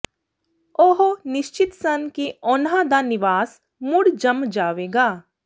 ਉਹ ਨਿਸ਼ਚਤ ਸਨ ਕਿ ਉਨ੍ਹਾਂ ਦਾ ਨਿਵਾਸ ਮੁੜ ਜੰਮ ਜਾਵੇਗਾ